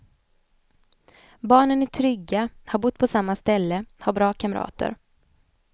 Barnen är trygga, har bott på samma ställe, har bra kamrater.